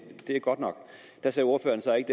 godt nok da sagde ordføreren så ikke